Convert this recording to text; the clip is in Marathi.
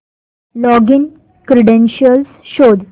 लॉगिन क्रीडेंशीयल्स शोध